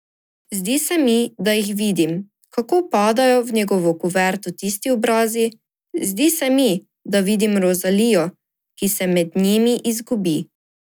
Zdi se mi, da jih vidim, kako padajo v njegovo kuverto tisti obrazi, zdi se mi, da vidim Rozalijo, ki se med njimi izgubi.